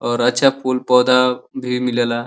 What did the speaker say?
और अच्छा फूल पौधा भी मिले ला।